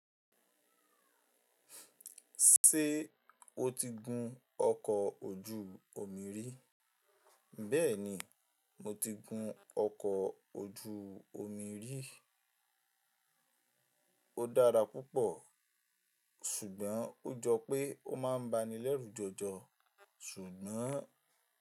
Ṣé o ti gun ọkọ̀ ojú omi rí? Bẹ́ẹ̀ni, mo ti gun ọkọ̀ ojú omi rí. Ó dára púpọ̀ ṣùgbọ́n ó jọ pé ó máa ń ba ni lẹ́rù jọjọ ṣùgbọ́n.